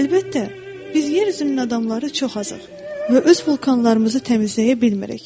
Əlbəttə, biz yer üzünün adamları çox azıq və öz vulkanlarımızı təmizləyə bilmirik.